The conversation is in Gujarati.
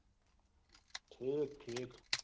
ઠીક ઠીક